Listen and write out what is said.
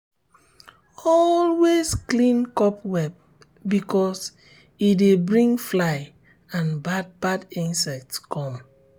always clean cobweb because e dey bring fly and bad bad insects come.